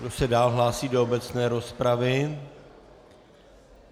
Kdo se dál hlásí do obecné rozpravy?